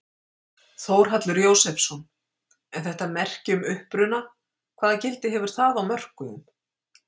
Þórhallur Jósefsson: En þetta merki um uppruna hvaða gildi hefur það á mörkuðum?